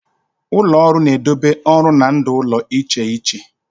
Ụlọ ọrụ na-edobe ọrụ na ndụ ụlọ iche iche.